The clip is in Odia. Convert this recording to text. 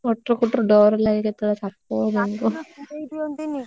କଟର କଟର ଡ଼ର ଲାଗେ କେତେ ବେଳେ ସାପ ବେଙ୍ଗ।